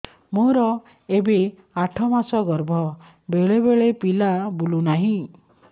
ମୋର ଏବେ ଆଠ ମାସ ଗର୍ଭ ବେଳେ ବେଳେ ପିଲା ବୁଲୁ ନାହିଁ